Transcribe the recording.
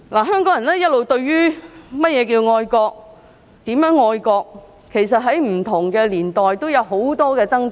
香港人一直對甚麼是愛國和如何愛國，其實在不同年代都有很多掙扎。